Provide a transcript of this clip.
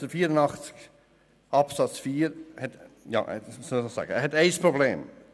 Artikel 84 Absatz 4 birgt aber ein Problem: